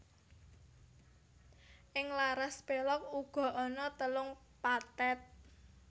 Ing laras pélog uga ana telung pathet